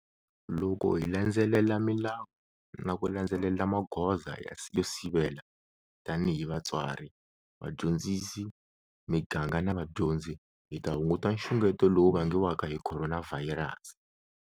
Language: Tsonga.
Loko hi landzelela milawu na ku landzelela magoza yo sivela - tanihi vatswari, vadyondzisi, miganga na vadyondzi hi ta hunguta nxungeto lowu vangiwaka hi Khoronavhayirasi.